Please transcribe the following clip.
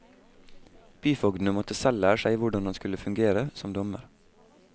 Byfogdene måtte selv lære seg hvordan han skulle fungere som dommer.